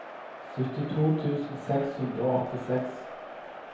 syttito tusen seks hundre og åttiseks